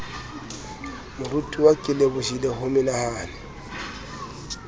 moratuwa ke lebohile ho menahane